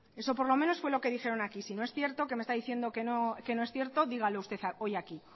eso por lo menos fue lo que dijeron aquí si no es cierto que me está diciendo que no es cierto dígalo usted hoy aquí